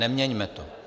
Neměňme to.